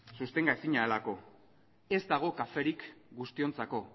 sustenga ezina delako ez dago kaferik guztiontzako